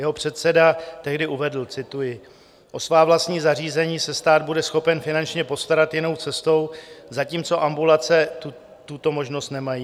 Jeho předseda tehdy uvedl - cituji: "O svá vlastní zařízení se stát bude schopen finančně postarat jinou cestou, zatímco ambulance tuto možnost nemají.